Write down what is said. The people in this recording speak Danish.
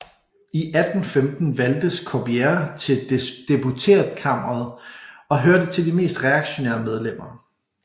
I 1815 valgtes Corbière til deputeretkamret og hørte til de mest reaktionære medlemmer